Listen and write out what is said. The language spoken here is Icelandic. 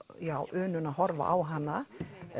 unun að horfa á hana